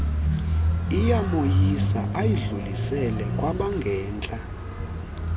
iyamoyisa ayidlulisele kwabangentla